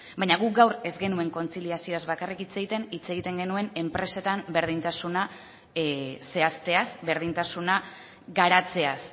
baina guk gaur ez genuen kontziliazioaz bakarrik hitz egiten hitz egiten genuen enpresetan berdintasuna zehazteaz berdintasuna garatzeaz